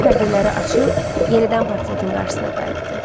Dorian pərdələri açıb yenidən portretin qarşısına qayıtdı.